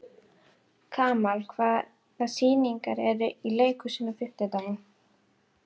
Kamal, hvaða sýningar eru í leikhúsinu á fimmtudaginn?